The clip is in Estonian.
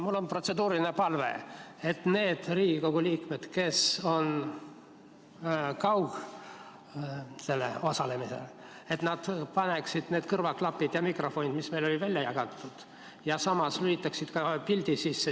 Mul on protseduuriline palve, et need Riigikogu liikmed, kes osalevad kaugkorras, paneksid pähe kõrvaklapid ja mikrofonid, mis meile välja jagati, ja samas lülitaksid pildi sisse.